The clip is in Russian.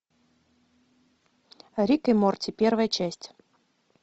рик и морти первая часть